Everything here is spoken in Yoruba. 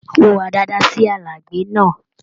Hùwà dáadáa sí alágbẹ̀ náà.